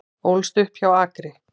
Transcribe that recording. Ólst upp hjá Akri